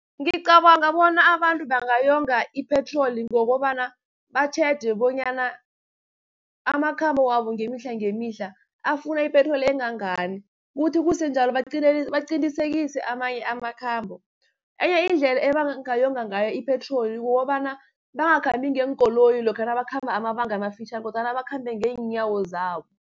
Ngicabanga bona abantu bangayonga i-petrol, ngokobana batjheje bonyana amakhambo wabo ngemihla-ngemihla afuna ipetroli engangani. Kuthi kusenjalo amanye amakhambo, enye indlela ebangayonga ngayo ipetroli kukobana bangakhambi ngeenkoloyi lokha nabakhamba amabanga amafitjhani, kodwana bakhambe ngeenyawo zabo.